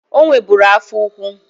O nweburu afọ ukwu.